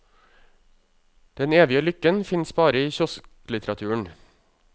Den evige lykken finnes bare i kiosklitteraturen.